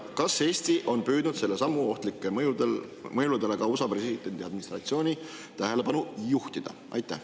Ja kas Eesti on püüdnud selle sammu ohtlikele mõjudele ka USA presidendi administratsiooni tähelepanu juhtida?